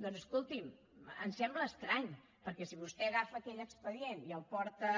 doncs escolti’m ens sembla estrany perquè si vostè agafa aquell expedient i el porta